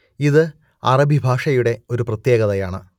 ഇത് അറബി ഭാഷയുടെ ഒരു പ്രത്യേകതയാണ്